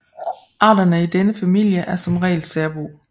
Arterne i denne familie er som regel særbo